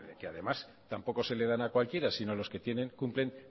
que además tampoco se le dan a cualquiera sino a los que cumplen